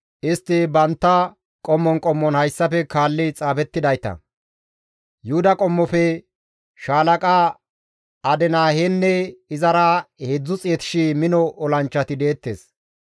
Istti bantta qommon qommon hayssafe kaalli xaafettidayta. Yuhuda qommofe shaalaqa Adinahenne izara 300,000 mino olanchchati deettes.